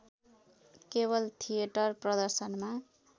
केवल थिएटर प्रदर्शनमा